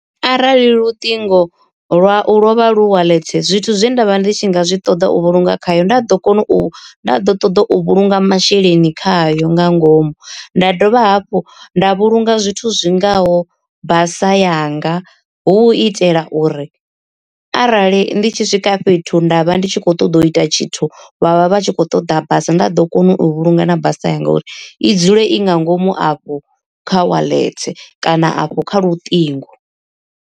Arali luṱingo lwau lwo vha lu wallet zwithu zwe nda vha ndi tshi nga zwi ṱoḓa u vhulunga khayo nda ḓo kona u ḓo ṱoḓa u vhulunga masheleni khayo nga ngomu. Nda dovha hafhu nda vhulunga zwithu zwingaho basa yanga, hu u itela uri arali ndi tshi swika fhethu nda vha ndi tshi kho ṱoḓa u ita tshithu vhavha vhatshi kho ṱoḓa basa nda ḓo kona u vhulunga na basa yanga uri i dzule i nga ngomu afho kha wallet kana afho kha luṱingo.